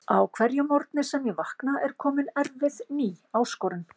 Á hverjum morgni sem ég vakna er komin erfið ný áskorun.